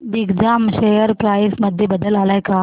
Digjam share price मध्ये बदल आलाय का